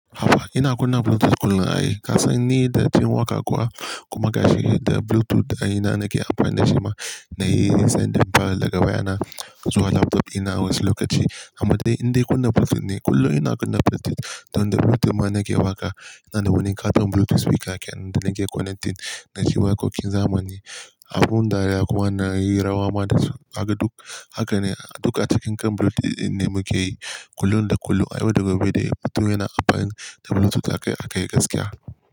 Hafa, ina kunna Bluetooth kullum na yi. Kasan ni da jim waka kuwa kuma gashi da Bluetooth ina nake amfani da shi ma, na yi sending file daga waya na zuwa laptop ina wasu lokaci. Amma dai, ina kunna Bluetooth ne kullum ina kunna Bluetooth don da Bluetooth ma nake waƙa. Ina da wani katon Bluetooth speaker ke nan da nake connecting da shi ma kokin zamani. Abun dariya kuma na yi rawa ma da su. Haka duk, haka ne duk a cikin kan Bluetooth ne muke yi kullum da kullu. A yau da gobe dai, mutum yana amfani da Bluetooth aka yi gaskiya.